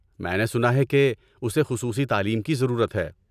میں نے سنا ہے کہ اسے خصوصی تعلیم کی ضرورت ہے۔